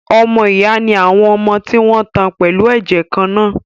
Ọmọ ìyá ni àwọn ọmọ tí wọn tan pẹ̀lú ẹ̀jẹ̀ kan-náà